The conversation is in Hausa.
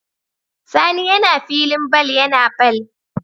Sani yAna filin ball yAna ball